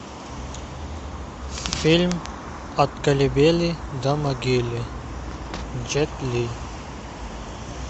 фильм от колыбели до могилы джет ли